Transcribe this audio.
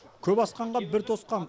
көп асқанға бір тосқан